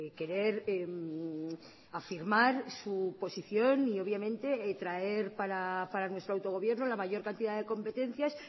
querer afirmar su posición y obviamente traer para nuestro autogobierno la mayor cantidad de competencias